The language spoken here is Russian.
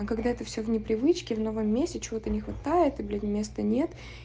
когда это все в непривычки в новом месте чего-то не хватает и блять места нет